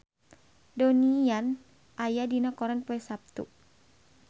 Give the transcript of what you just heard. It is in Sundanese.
Donnie Yan aya dina koran poe Saptu